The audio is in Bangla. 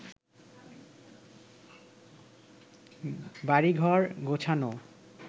বাড়িঘর গোছানো